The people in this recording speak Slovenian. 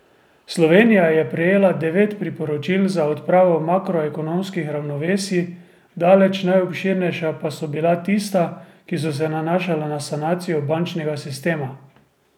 Slovenija je prejela devet priporočil za odpravo makroekonomskih ravnovesij, daleč najobširnejša pa so bila tista, ki so se nanašala na sanacijo bančnega sistema.